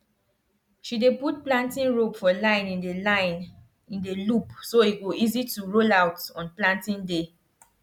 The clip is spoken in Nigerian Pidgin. she dey put planting rope for line in the line in the loop so e go easy to roll out on planting day